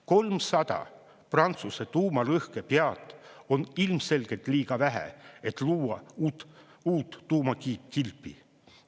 300 Prantsuse tuumalõhkepead on ilmselgelt liiga vähe, et luua uut tuumakilpi.